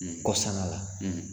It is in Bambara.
Kɔsala la,